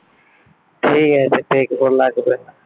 ঠিক আছে দেখবো লাগবেনা ।